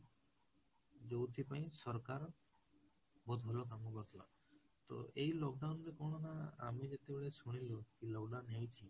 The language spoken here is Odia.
ଯୋଉଥିପାଇଁ ସରକାର ବହୁତ ଭଲ କାମ କରିଥିଲା, ତ ଏଇ lockdown ରେ କଣ ନା, ଆମେ ଯେତେବେଳେ ଶୁଣିଲୁ କି lockdown ହେଇଛି